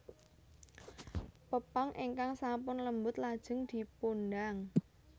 Pepang ingkang sampun lembut lajeng dipundang